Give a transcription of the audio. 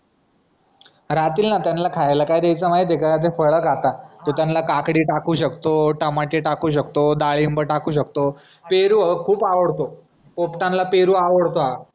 राहतील ना त्यांला खायला काय द्यायचं माहितीय का? ते फळ खातात तू त्यांला काकडी टाकू शकतो, टमाटे टाकू शकतो, डाळिंब टाकू शकतो पेरू खूप आवडतो पोपटांना पेरू आवडतात